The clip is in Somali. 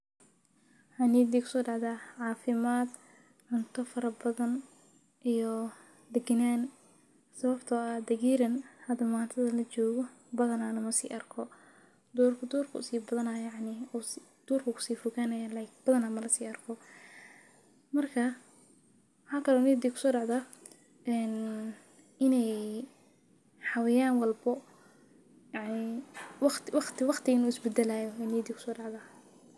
Niyaddayda waxa ku soo dhacaya caafimaad, cunto badan, iyo degganaansho. Sababtoo ah, deggeran maanta la joogo lama si arko . Duhurka ayuu sii badanayaa xawaayan walbo , walbana waqtiga wuu is beddelayaa.